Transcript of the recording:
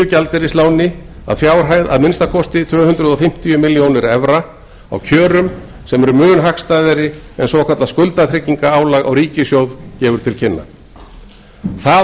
að að fjárhæð að minnsta kosti tvö hundruð fimmtíu milljónir evra á kjörum sem eru mun hagstæðari en svokallað skuldatryggingarálag á ríkissjóð gefur til kynna það